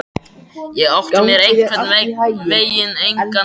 Ég átti mér einhvern veginn engan stað.